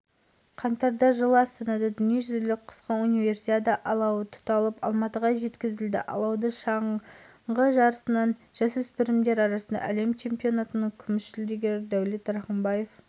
алау спортшылар бүркітшілер оқушылар студенттер спортсүйер қауымның қатысумен жағылды қысқы универсиада жылғы универсиада алматы қаласында қаңтар